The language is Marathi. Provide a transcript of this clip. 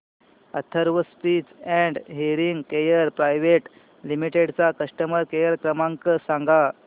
Atharva speech and hearing care private limited चा कस्टमर केअर क्रमांक सांगा